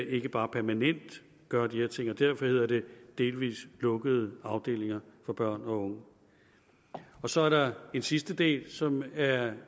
ikke bare permanent gør de her ting og derfor hedder det delvis lukkede afdelinger for børn og unge så er der en sidste del som er